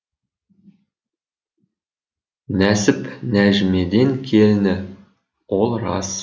нәсіп нәжімеден келіні ол рас